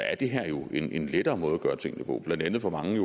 er det her jo en lettere måde at gøre tingene på blandt andet får mange